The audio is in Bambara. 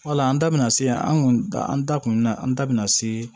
Wala an da bɛna se yan an kun da an da kun na an da bɛna se